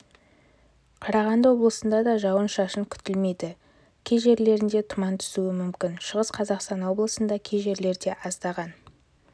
қарағанды облысында да жауын-шашын күтілмейді кей жерлерінде тұман түсуі мүмкін шығыс қазақстан облысында кей жерлерде аздаған